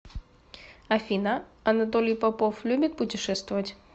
афина анатолий попов любит путешествовать